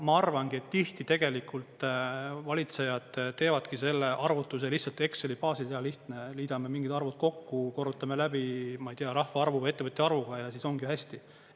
Ma arvangi, et tihti tegelikult valitsejad teevadki selle arvutuse lihtsalt Exceli baasil, hea lihtne, liidame mingid arvud kokku, korrutame läbi, ma ei tea, rahva arvuga, ettevõtjate arvuga, ja siis ongi hästi.